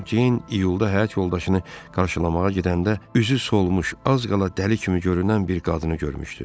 Cənab Ceyn iyulda həyat yoldaşını qarşılamağa gedəndə üzü solmuş, az qala dəli kimi görünən bir qadını görmüşdü.